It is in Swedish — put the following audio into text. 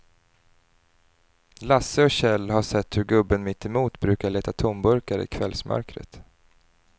Lasse och Kjell har sett hur gubben mittemot brukar leta tomburkar i kvällsmörkret.